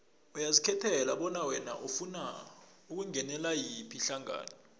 uyazikhethela bona wena ufuna ukungenela yiphi ihlangano